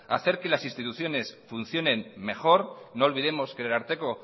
hacer que las instituciones funcionen mejor no olvidemos que el ararteko